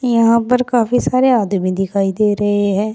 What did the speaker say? यहां पर काफी सारे आदमी दिखाई दे रहे हैं।